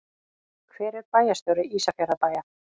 Hver er bæjarstjóri Ísafjarðarbæjar?